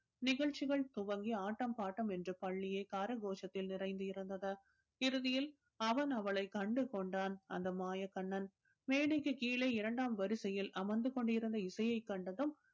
நிகழ்ச்சிகள் துவங்கி ஆட்டம் பாட்டம் என்று பள்ளியே கர கோஷத்தில் நிறைந்து இருந்தது. இறுதியில் அவன் அவளைக் கண்டு கொண்டான் அந்த மாயக் கண்ணன் மேடைக்கு கீழே இரண்டாம் வரிசையில் அமர்ந்து கொண்டு இருந்த இசையை கண்டதும்